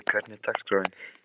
Doddý, hvernig er dagskráin?